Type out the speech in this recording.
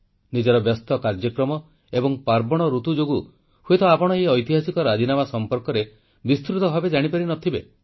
ନିଜର ବ୍ୟସ୍ତ କାର୍ଯ୍ୟକ୍ରମ ଏବଂ ପାର୍ବଣ ଋତୁ ଯୋଗୁଁ ହୁଏତ ଆପଣ ଏହି ଐତିହାସିକ ରାଜିନାମା ବିଷୟରେ ବିସ୍ତୃତ ଭାବେ ଜାଣିପାରି ନ ଥିବେ